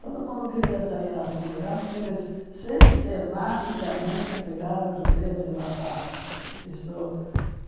Todo mundo queria sair a algum lugar porque eles sistematicamente pegaram judeus e matavam. Isto